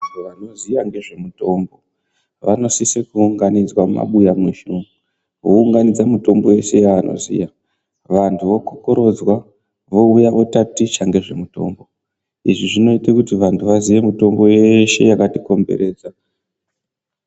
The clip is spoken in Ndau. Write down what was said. Vanoziya ngezvemitombo vanosise kuunganidzwa mumabuya mweshe umwo vounganidze mitombo yeshe yavanoziya vantu vokokorodzwa vouya votaticha ngezvemitombo. Izvi zvinoite kuti vantu vaziye mitombo yeshe yakatikomberedza.